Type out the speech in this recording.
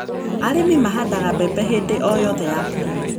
Arĩmi mahandaga mbembe hĩndĩ o yothe ya mbura.